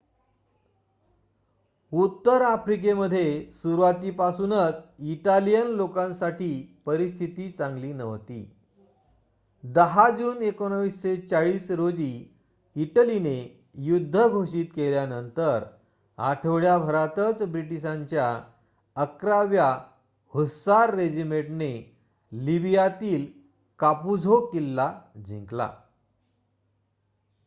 उत्तर आफ्रिकेमध्ये सुरुवातीपासूनच इटालियन लोकांसाठी परिस्थिती चांगली नव्हती. १० जून १९४० रोजी इटलीने युद्ध घोषित केल्यानंतर आठवड्याभरातच ब्रिटिशांच्या ११ व्या हुस्सार रेजिमेंटने लिबियातील कापुझो किल्ला जिंकला